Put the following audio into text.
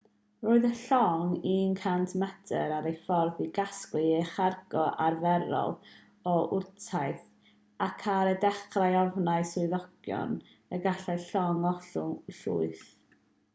roedd y llong 100 metr ar ei ffordd i gasglu ei chargo arferol o wrtaith ac ar y dechrau ofnai swyddogion y gallai'r llong ollwng llwyth